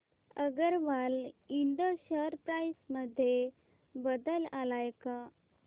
Agarwal Ind share price मध्ये बदल आलाय का